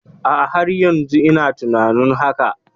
A'a, har yanzu ina tunanin hakan.